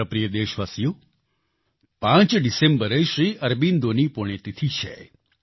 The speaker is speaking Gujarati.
મારા પ્રિય દેશવાસીઓ 5 ડિસેમ્બરે શ્રી અરબિંદોની પુણ્યતિથી છે